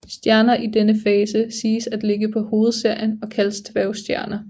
Stjerner i denne fase siges at ligge på hovedserien og kaldes dværgstjerner